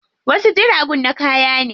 Wasu jiragun na kaya ne.